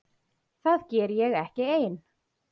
Það geri ég ekki ein.